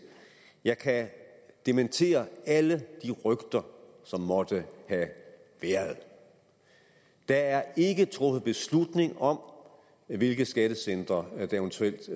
jeg kan dementere alle de rygter som måtte have været der er ikke truffet beslutning om hvilke skattecentre der eventuelt